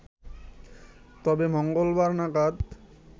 তবে মঙ্গলবার নাগাদ